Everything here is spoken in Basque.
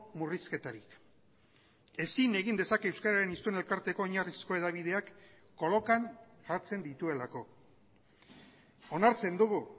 murrizketarik ezin egin dezake euskararen hiztun elkarteko oinarrizko hedabideak kolokan jartzen dituelako onartzen dugu